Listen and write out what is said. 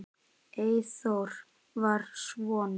Eyþór var svona.